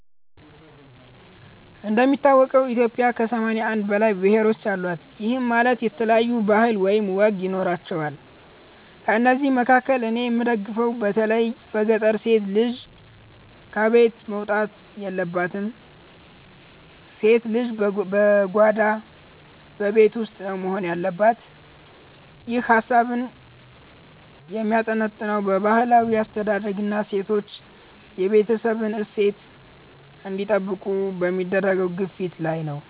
እንደሚታወቀው ኢትዮጵያ ከ81 በላይ ብሔሮች አሏት፤ ይህም ማለት የተለያዩ ባህል ወይም ወግ ይኖራቸዋል። ከእነዚህ መካከል እኔ የምደግፈው በተለይ በገጠር ሴት ልጅ ከቤት መውጣት የለባትም፣ ሴት ልጅ በጓዳ (በቤት ውስጥ) ነው መሆን ያለባት። ይህ ሃሳብህ የሚያጠነጥነው በባህላዊ አስተዳደግና ሴቶች የቤተሰብን እሴት እንዲጠብቁ በሚደረገው ግፊት ላይ ነው።